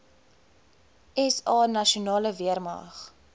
sa nasionale weermag